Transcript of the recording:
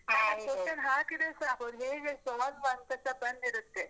question ಹಾಕಿದ್ರೆ ಸಾಕು, ಅದು ಹೀಗೆ solve ಅಂತಸ ಬಂದಿರತ್ತೆ.